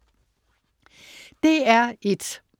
DR1: